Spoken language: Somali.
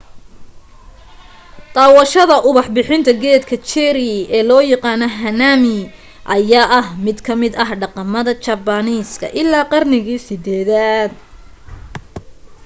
daawadashada ubax bixinta geedka cherry ee loo yaqaano hanami ayaa ah mid kamida dhaqamada jabaaniiska ilaa qarnigii 8-daad